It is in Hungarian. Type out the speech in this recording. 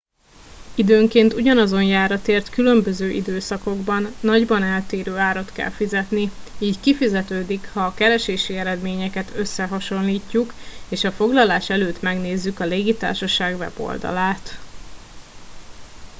időnként ugyanazon járatért különböző időszakokban nagyban eltérő árat kell fizetni így kifizetődik ha a keresési eredményeket összehasonlítjuk és a foglalás előtt megnézzük a légitársaság weboldalát